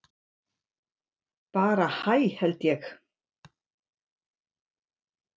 Bara hæ held ég.